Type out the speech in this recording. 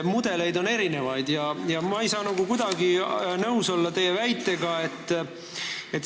Mudeleid on erinevaid ja ma ei saa kuidagi teie väitega nõus olla.